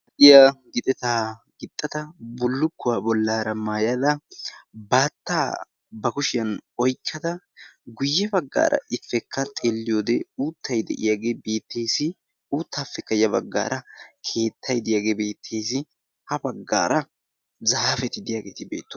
Aayiya gixetaa gixxata bullukkuwaa bollaara maayada baattaa ba kushiyan oikkada guyye baggaara ipekka xeelliyoodee uuttay de'iyaagee bettees. uuttaappe kayya baggaara keettay deyaagee biettiis ha baggaara zaapeti deyaageeti beetto